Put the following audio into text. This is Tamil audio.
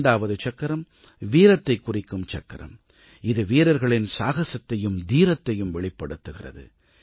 இரண்டாவது சக்கரம் வீரத்தைக் குறிக்கும் சக்கரம் இது வீரர்களின் சாகசத்தையும் தீரத்தையும் வெளிப்படுத்துகிறது